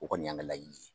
O kɔni y'an ka laɲini ye